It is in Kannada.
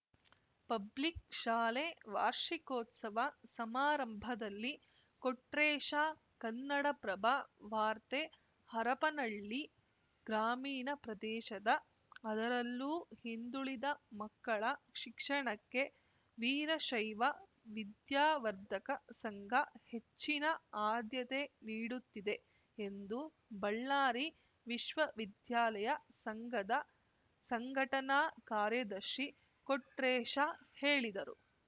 ಪಬ್ಲಿಕ್‌ ಶಾಲೆ ವಾರ್ಷಿಕೋತ್ಸವ ಸಮಾರಂಭದಲ್ಲಿ ಕೊಟ್ರೇಶ ಕನ್ನಡಪ್ರಭ ವಾರ್ತೆ ಹರಪನಹಳ್ಳಿ ಗ್ರಾಮೀಣ ಪ್ರದೇಶದ ಅದರಲ್ಲೂ ಹಿಂದುಳಿದ ಮಕ್ಕಳ ಶಿಕ್ಷಣಕ್ಕೆ ವೀರಶೈವ ವಿದ್ಯಾವರ್ಧಕ ಸಂಘ ಹೆಚ್ಚಿನ ಆದ್ಯತೆ ನೀಡುತ್ತಿದೆ ಎಂದು ಬಳ್ಳಾರಿ ವಿಶ್ವ ವಿದ್ಯಾಲಯ ಸಂಘದ ಸಂಘಟನಾ ಕಾರ್ಯದರ್ಶಿ ಕೊಟ್ರೇಶ ಹೇಳಿದರು